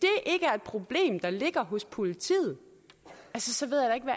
problem der ligger hos politiet så